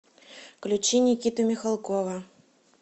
включи никиту михалкова